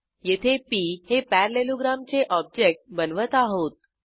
येथे पी हे पॅरालेलोग्राम चे ऑब्जेक्ट बनवत आहोत